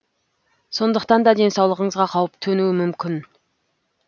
сондықтанда денсаулығыңызға қауіп төнуі мүмкін